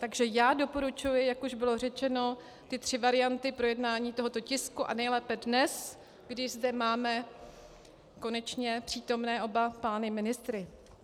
Takže já doporučuji, jak už bylo řečeno, ty tři varianty projednání tohoto tisku, a nejlépe dnes, kdy zde máme konečně přítomné oba pány ministry.